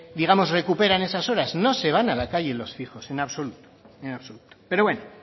digamos recuperan esas horas no se van a la calle los fijos en absoluto en absoluto pero bueno